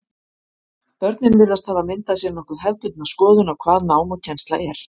Börnin virðast hafa myndað sér nokkuð hefðbundna skoðun á hvað nám og kennsla er.